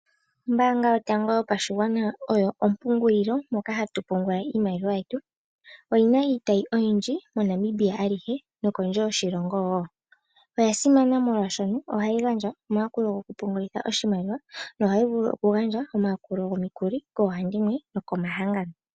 Ombaanga yotango yopashigwana oyo ompungulilo moka hatupungula iimaliwa yetu oyina iitayi oyindji moNamibia alihe nokondje yoshilongo wo. Oyasimana molwashono ohayi gandja omayakulo goku pungulitha oshimaliwa nohayi vulu oku gandja omayakulo gomikuli koohandimwe nokomahangano.